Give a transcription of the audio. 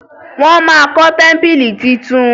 wón má kó tẹmpili títún